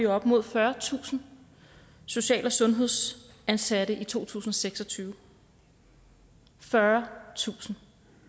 op mod fyrretusind social og sundhedsansatte i to tusind og seks og tyve fyrretusind